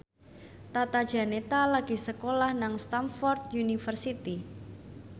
Tata Janeta lagi sekolah nang Stamford University